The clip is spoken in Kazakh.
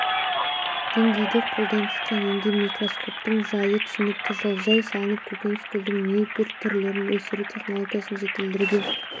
деңгейде қолданысқа енген микроскоптың жайы түсінікті жылыжай салып көкөніс гүлдің небір түрлерін өсіру технологиясын жетілдірген